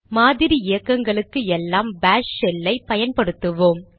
மாதிரி இயக்கங்களுக்கு எல்லாம் பாஷ் ஷெல்லை பயன்படுத்துவோம்